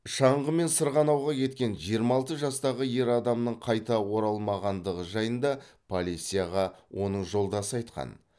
шаңғымен сырғанауға кеткен жиырма алты жастағы ер адамның қайта оралмағандығы жайында полицияға оның жолдасы айтқан